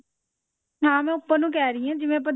ਹਾਂ ਮੈਂ ਉੱਪਰ ਨੂੰ ਕਿਹ ਰਹੀ ਹਾਂ ਜਿਵੇਂ ਆਪਾਂ